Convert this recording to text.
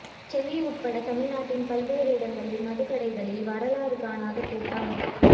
சென்னை உட்பட தமிழ்நாட்டின் பல்வேறு இடங்களில் மதுக்கடைகளில் வரலாறு காணாத கூட்டம்